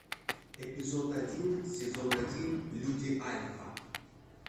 эпизод один сезон один люди альфа